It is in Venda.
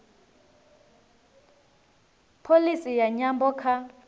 pholisi ya nyambo kha